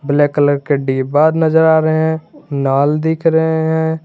Black colour के डिब्बा नजर आ रहे लाल दिख रहे हैं।